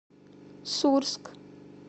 сурск